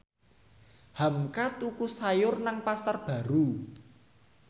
hamka tuku sayur nang Pasar Baru